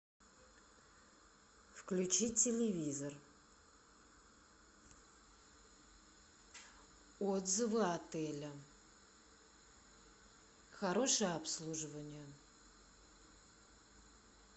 включи телевизор отзывы отеля хорошее обслуживание